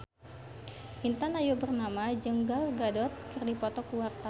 Intan Ayu Purnama jeung Gal Gadot keur dipoto ku wartawan